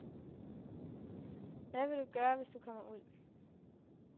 Hvad vil du gøre, hvis du kommer ud.